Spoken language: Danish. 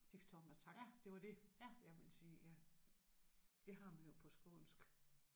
Diftonger tak det var det jeg ville sige ja. Det har man jo på skånsk